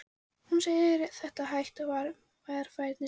Hún segir þetta hægt og varfærnislega.